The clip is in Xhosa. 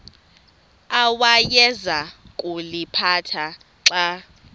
awayeza kuliphatha xa